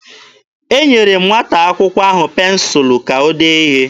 Enyere m nwata akwụkwọ ahụ pensụlụ ka o dee ihe.